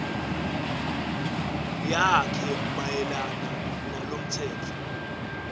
yakhe mayelana nalomtsetfo